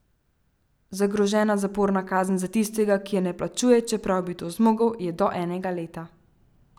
Zagrožena zaporna kazen za tistega, ki je ne plačuje, čeprav bi to zmogel, je do enega leta.